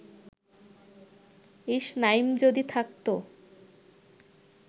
ইস, নাইম যদি থাকত